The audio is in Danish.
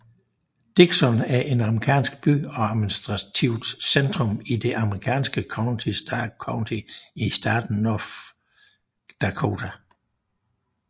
Dickinson er en amerikansk by og administrativt centrum i det amerikanske county Stark County i staten North Dakota